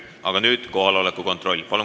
Aga nüüd kohaloleku kontroll.